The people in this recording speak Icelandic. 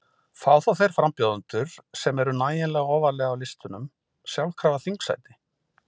Fá þá þeir frambjóðendur, sem eru nægilega ofarlega á listunum, sjálfkrafa þingsæti?